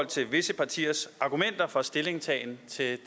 til visse partiers argumenter for stillingtagen til